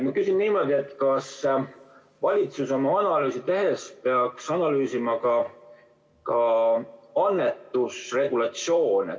Ma küsin niimoodi, kas valitsus oma analüüsi tehes peaks analüüsima ka annetusregulatsioone.